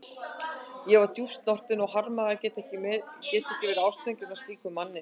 Ég var djúpt snortin og harmaði að geta ekki verið ástfangin af slíkum manni.